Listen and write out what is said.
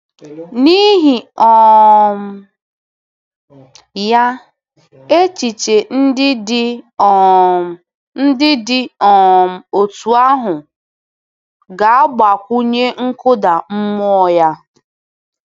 N’ihi um ya, echiche ndị dị um ndị dị um otú ahụ gāgbakwunye nkụda mmụọ-ya.